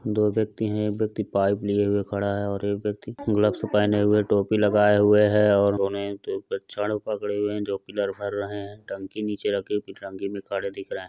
दो व्यक्ति हैं। एक व्यक्ति पाइप लिए हुए खड़ा हैं और एक व्यक्ति ग्लव्स पहने हुए टोपी लगाए हुए हैं और दोनों ही छड़ पकड़े हुए हैं जो पिलर भर रहे हैं। टंकी नीचे रखी। टंकी मे खड़े दिख रहे है।